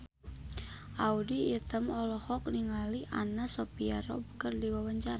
Audy Item olohok ningali Anna Sophia Robb keur diwawancara